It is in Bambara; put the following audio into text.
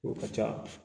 O ka ca